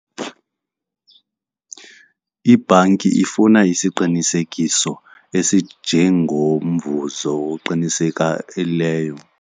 Ibhanki ifuna isiqinisekiso esinjengomvuzo oqiniseka .